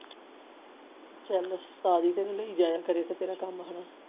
ਚੱਲ ਕਮ ਹਨ